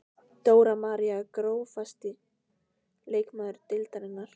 Dóra María Grófasti leikmaður deildarinnar?